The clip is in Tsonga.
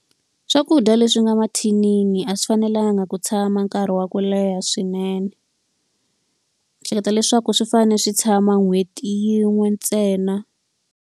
Swakudya leswi nga mathinini a swi fanelanga ku tshama nkarhi wa ku leha swinene. Ndzi hleketa leswaku swi fanele swi tshama nhweti yin'we ntsena.